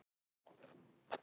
Leynir á sér!